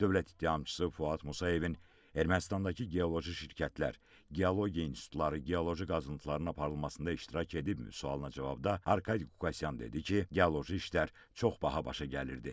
Dövlət ittihamçısı Fuad Musayevin Ermənistandakı geoloji şirkətlər, geologiya institutları, geoloji qazıntıların aparılmasında iştirak edibmi sualına cavabda Arkadi Qukasyan dedi ki, geoloji işlər çox baha başa gəlirdi.